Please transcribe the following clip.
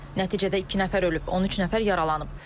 Nəticədə iki nəfər ölüb, 13 nəfər yaralanıb.